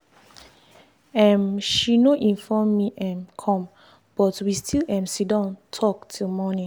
um she no inform me um come but we still um sitdon talk till morning.